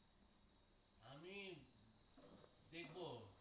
আমি দেখব